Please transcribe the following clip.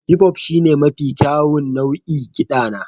hip-hop shine mafi kyawun nau'in kiɗa na